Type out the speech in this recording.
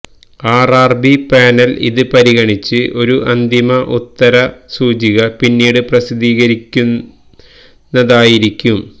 RRB panel ഇത് പരിഗണിച്ച് ഒരു അന്തിമ ഉത്തര സൂചിക പിന്നീട് പ്രസിദ്ധീകരിക്കുന്നതായിരിക്കും